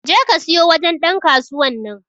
je ka siyo wajen Dan kasuwan nan.